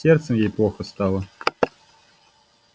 с сердцем ей плохо стало